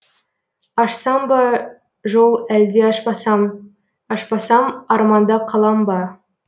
ашсам ба жол әлде ашпасам ашпасам арманда қалам ба